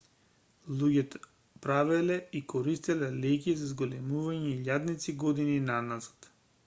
луѓето правеле и користеле леќи за зголемување илјадници години наназад